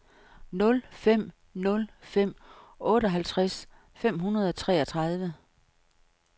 nul fem nul fem otteoghalvtreds fem hundrede og treogtredive